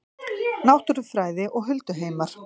Náttúrufræði og hulduheimar